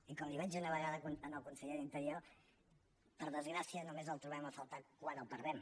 i com li vaig dir una vegada al conseller de l’interior per desgràcia només el trobem a faltar quan el perdem